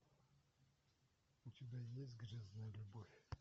у тебя есть грязная любовь